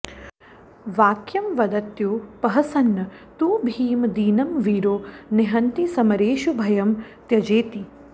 वाक्यं वदत्युपहसन्न तु भीम दीनं वीरो निहन्ति समरेषु भयं त्यजेति